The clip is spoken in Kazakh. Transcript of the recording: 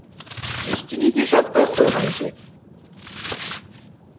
ештеңе де жазбай қойған кез